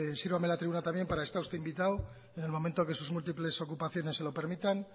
sírvame la tribuna también para estar usted invitado en el momento que sus múltiples ocupaciones se lo permitan